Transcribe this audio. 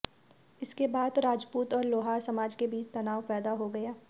इसके बाद राजपूत और लोहार समाज के बीच तनाव पैदा हो गया